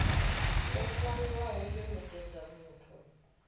yo ṅwaliwaho yo nekedzwa muthu